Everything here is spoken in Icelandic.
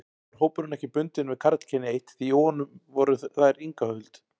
Nú var hópurinn ekki bundinn við karlkynið eitt, því í honum voru þær Inga Huld